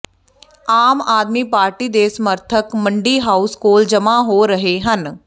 ਆਮ Aadmi Party ਦੇ ਸਮਰਥਕ Mandi House ਕੋਲ ਜਮ੍ਹਾ ਹੋ ਰਹੇ ਹਨ